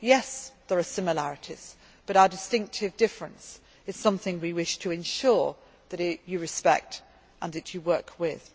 as yours have. Yes, there are similarities but our distinctive difference is something we wish to ensure that you respect and